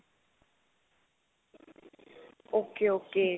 ok ok